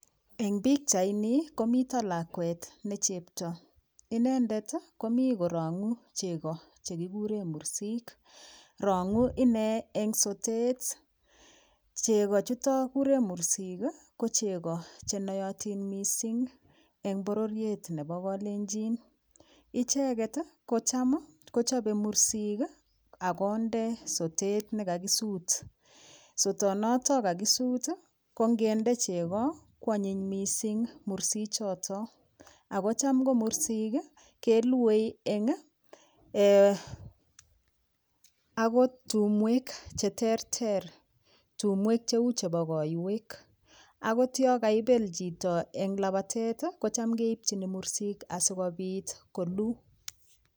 Eng pikchaini ni komito lakwet ne chepto inendet komi korong'u cheko chekikure mursik rong'u inee eng sotet cheko chuto kikure mursik ko cheko chenoyotin mising eng pororiet nebo kalenjin icheket kocham kochobei mursik akonde sotet nekakisut sotonoto kakisut ko ngende cheko koanyiny mising mursichoto ako cham komursik keluei eng akot tumwek cheterter tumwek cheu chebo koiwek akot yo kaibel chito eng labatet kocham keipchini mursik asikopit kolu.